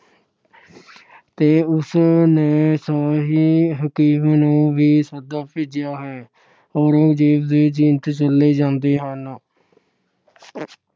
ਤੇ ਉਸ ਨੇ ਸ਼ਾਹੀ ਹਕੀਮ ਨੂੰ ਵੀ ਸੱਦਾ ਭੇਜਿਆ ਹੈ ਅਤੇ ਔਰੰਗਜ਼ੇਬ ਤੇ ਜੀਨਤ ਚਲੇ ਜਾਂਦੇ ਹਨ।